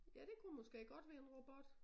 Ja det kunne måske godt være en robot